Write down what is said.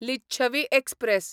Licchavi express